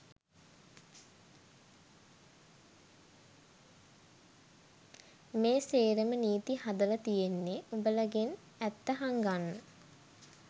මේ සේරම නීති හදල තියෙන්නෙ උඹලගෙන් ඇත්ත හංගන්න